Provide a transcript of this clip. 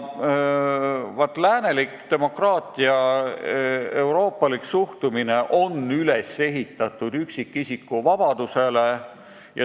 Läänelik demokraatia ja euroopalik suhtumine on üles ehitatud üksikisiku vabadusele.